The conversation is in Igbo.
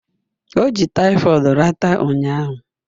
O ji typhoid ridata ụnyaahụ